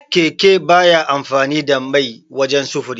Keke baya amfani da mai wajan sufuri.